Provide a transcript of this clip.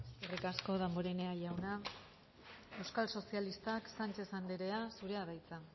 eskerrik asko damborenea jauna euskal sozialistak sánchez andrea zurea da hitza